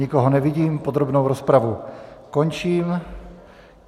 Nikoho nevidím, podrobnou rozpravu končím.